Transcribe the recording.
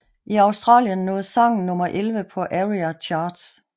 I Australien nåede sangen nummer elleve på ARIA Charts